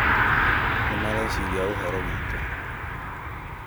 Nĩ mareciria ũhoro witũ